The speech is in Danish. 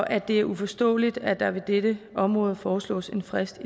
at det er uforståeligt at der på dette område foreslås en frist